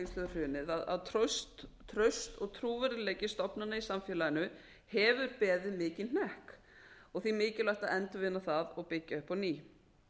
hrunið er að traust og trúverðugleiki stofnana í samfélaginu hefur beðið mikinn hnekki og því mikilvægt að endurvinna það og byggja upp á ný